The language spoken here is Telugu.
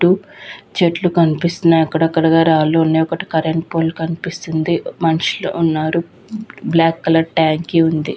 చెట్లు కనిపిస్తూ ఉన్నాయ్ అక్కడక్కడగా రాళ్ళూ ఉన్నాయ్ ఒక కరెంట్ పోల్ కనిపిస్తుంది. మనషులు కూడా ఉన్నారు. బ్లాక్ కలర్ ట్యాంక్ ఉంది.